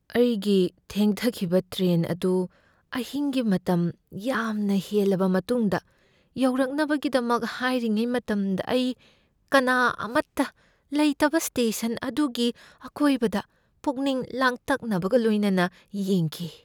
ꯑꯩꯒꯤ ꯊꯦꯡꯊꯈꯤꯕ ꯇ꯭ꯔꯦꯟ ꯑꯗꯨ ꯑꯍꯤꯡꯒꯤ ꯃꯇꯝ ꯌꯥꯝꯅ ꯍꯦꯜꯂꯕ ꯃꯇꯨꯡꯗ ꯌꯧꯔꯛꯅꯕꯒꯤꯗꯃꯛ ꯉꯥꯏꯔꯤꯉꯩ ꯃꯇꯝꯗ ꯑꯩ ꯀꯅꯥ ꯑꯃꯠꯇ ꯂꯩꯇꯕ ꯁ꯭ꯇꯦꯁꯟ ꯑꯗꯨꯒꯤ ꯑꯀꯣꯏꯕꯗ ꯄꯨꯛꯅꯤꯡ ꯂꯥꯡꯇꯛꯅꯕꯒ ꯂꯣꯏꯅꯅ ꯌꯦꯡꯈꯤ꯫